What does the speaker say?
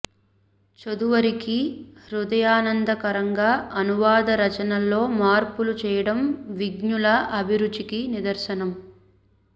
చదువరికి హృదయానంద కరంగా అనువాద రచనల్లో మార్పులు చెయ్యడం విజ్ఞుల అభిరుచికి నిదర్శనం